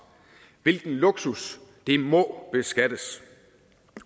hvilken luksus det må beskattes